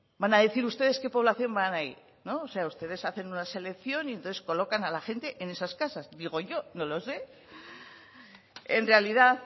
van a decir ustedes qué población va ahí ustedes hacen una selección y entonces colocan a la gente en esas casas digo yo no lo sé en realidad